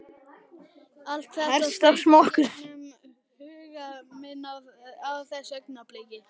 Allt þetta þaut í gegnum huga minn á þessu augnabliki.